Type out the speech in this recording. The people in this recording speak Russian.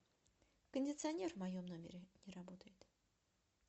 кондиционер в моем номере не работает